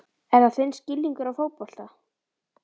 Er það þinn skilningur á fótbolta?